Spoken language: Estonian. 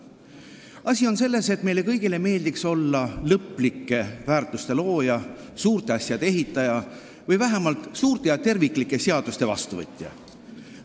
Asi on selles, et meile kõigile meeldiks olla lõplike väärtuste looja, suurte asjade ehitaja või vähemalt suurte ja terviklike seaduste vastuvõtja.